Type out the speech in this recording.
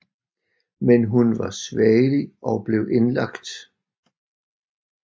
Men hun var svagelig og blev indlagt